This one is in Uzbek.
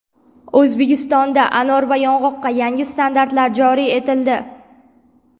O‘zbekistonda anor va yong‘oqqa yangi standartlar joriy etildi.